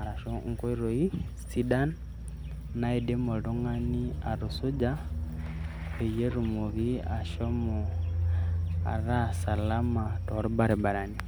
arashu enkotoi sidai naidim oltungani atusuja peyie atumoki ashomo ata salama tol barabarani.